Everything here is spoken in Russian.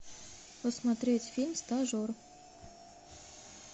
посмотреть фильм стажер